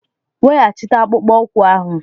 Weghachite akpụkpọ ụkwụ ahụ!